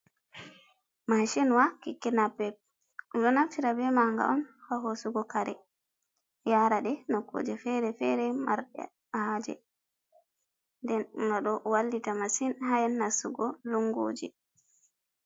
Macinwa keke napep, ɓeɗo naftira be ma'anga on ha hosugo kare, yaraɗe nokkuje feere-feere, marɗe haje nden noɗo wallita masin ha nastugo lunguji.